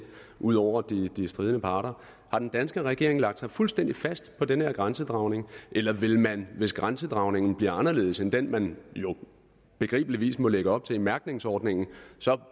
ud over de stridende parter har den danske regering lagt sig fuldstændig fast på den her grænsedragning eller vil man hvis grænsedragningen bliver anderledes end den man jo begribeligvis må lægge op til i mærkningsordningen så